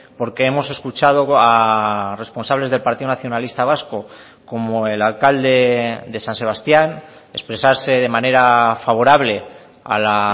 porque hemos escuchado a responsables del partido nacionalista vasco como el alcalde de san sebastián expresarse de manera favorable a la